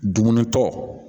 Dumuni tɔ